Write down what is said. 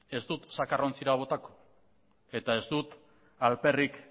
ez dut zakarrontzira botako eta ez dut alperrik